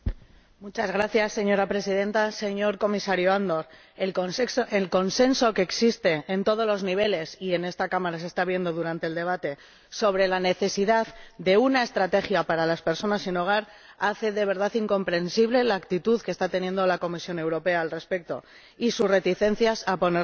Señora Presidenta, señor Comisario Andor, el consenso que existe en todos los niveles ―y en esta Cámara se está viendo durante el debate― sobre la necesidad de una estrategia para las personas sin hogar hace de verdad incomprensible la actitud de la Comisión Europea al respecto y sus reticencias a ponerla en marcha.